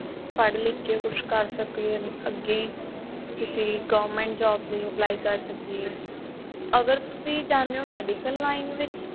ਪੜ੍ਹ ਲਿੱਖ ਕੇ ਕੁੱਛ ਕਰ ਸਕੀਏ ਅੱਗੇ ਕਿਸੀ government job ਚ apply ਕਰ ਸਕੀਏ ਅਗਰ ਤੁਸੀਂ ਜਾਂਦੇ ਹੋ medical line ਦੇ ਵਿੱਚ